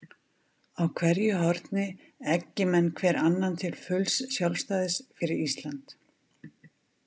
Á hverju horni eggi menn hver annan til fulls sjálfstæðis fyrir Ísland.